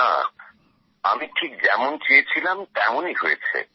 না আমি ঠিক যেমন চেয়েছিলাম তেমনই হয়েছে